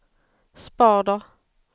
spader